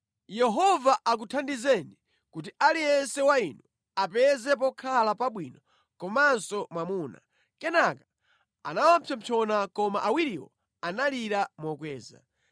“Yehova akuthandizeni kuti aliyense wa inu apeze pokhala pabwino komanso mwamuna.” Kenaka anawapsompsona koma awiriwo analira mokweza.